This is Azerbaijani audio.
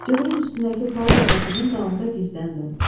Cığırın üstündəki palıd ağacının dalında gizləndim.